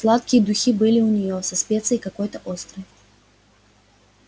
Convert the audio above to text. сладкие духи были у неё со специей какой-то острой